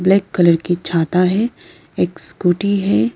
Black colour की छाता है एक स्कूटी है।